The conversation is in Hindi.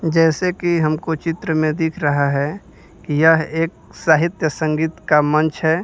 जैसे कि हमको चित्र में दिख रहा है कि यह एक साहित्य संगीत का मंच है।